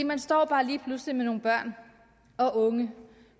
man står bare lige pludselig med nogle børn og unge